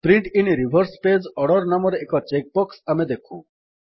print in reverse page order ନାମରେ ଏକ check box ଆମେ ଦେଖୁ